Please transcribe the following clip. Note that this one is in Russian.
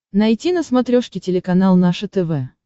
найти на смотрешке телеканал наше тв